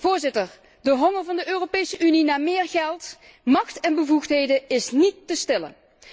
Voorzitter, de honger van de Europese Unie naar meer geld, macht en bevoegdheden is niet te stillen.